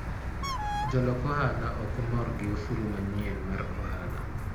Jolok ohala ok mor gi osuru manyien mar ohala.